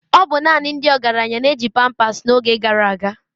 Ọ bụ naanị ndị ọgaranya na-eji pampasi n'oge gara aga.